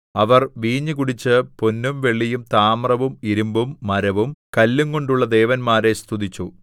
അവർ വീഞ്ഞു കുടിച്ച് പൊന്നും വെള്ളിയും താമ്രവും ഇരിമ്പും മരവും കല്ലുംകൊണ്ടുള്ള ദേവന്മാരെ സ്തുതിച്ചു